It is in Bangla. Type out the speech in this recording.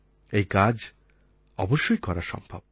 এই কাজ অবশ্যই করা সম্ভব